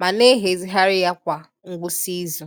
ma na-ehazigharị ya kwa ngwụsị izu.